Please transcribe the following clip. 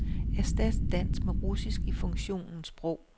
Erstat dansk med russisk i funktionen sprog.